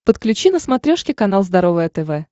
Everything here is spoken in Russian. подключи на смотрешке канал здоровое тв